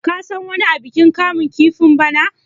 ka san wani abikin kamun kifin bana!